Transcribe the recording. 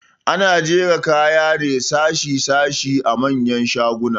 Ana jera kaya ne sashe sashe a manyan shaguna